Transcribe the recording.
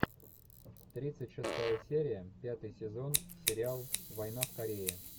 тридцать шестая серия пятый сезон сериал война в корее